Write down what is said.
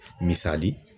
Misali